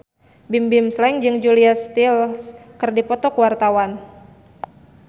Bimbim Slank jeung Julia Stiles keur dipoto ku wartawan